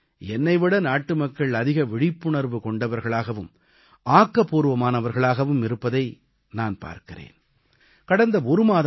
சில வேளைகளில் என்னை விட நாட்டுமக்கள் அதிக விழிப்புணர்வு கொண்டவர்களாகவும் ஆக்கபூர்வமானவர்களாகவும் இருப்பதை நான் பார்க்கிறேன்